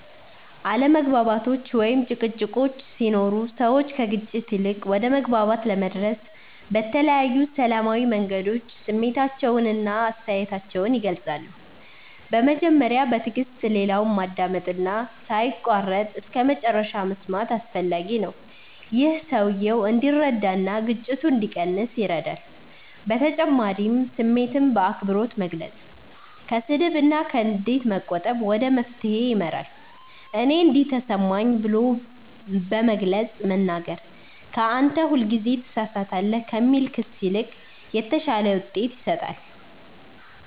አለመግባባቶች ወይም ጭቅጭቆች ሲኖሩ ሰዎች ከግጭት ይልቅ ወደ መግባባት ለመድረስ በተለያዩ ሰላማዊ መንገዶች ስሜታቸውን እና አስተያየታቸውን ይገልጻሉ። በመጀመሪያ በትዕግስት ሌላውን ማዳመጥ እና ሳይቋረጥ እስከመጨረሻ መስማት አስፈላጊ ነው። ይህ ሰውየው እንዲረዳ እና ግጭቱ እንዲቀንስ ይረዳል በተጨማሪም ስሜትን በአክብሮት መግለጽ፣ ከስድብ እና ከንዴት መቆጠብ ወደ መፍትሄ ይመራል። “እኔ እንዲህ ተሰማኝ” ብሎ በግልጽ መናገር ከ “አንተ ሁልጊዜ ትሳሳታለህ” ከሚል ክስ ይልቅ የተሻለ ውጤት ይሰጣል።